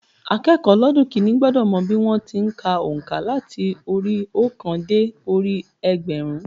Akékòó ọlọ́dún kínní gbọ́dọ̀ mọ bí wọ́n ti n ka ònká láti orí i óòkan dé orí i ẹgbẹ̀rún